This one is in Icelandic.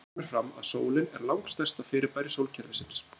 Þar kemur fram að sólin er langstærsta fyrirbæri sólkerfisins.